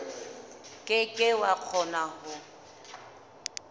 ke ke wa kgona ho